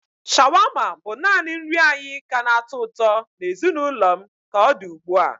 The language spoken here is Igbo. Shawarma bụ naanị nri anyị ka na-atọ ụtọ na ezinụlọ m ka ọ dị ugbu a.